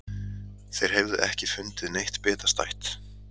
Þeir hefðu ekki fundið neitt bitastætt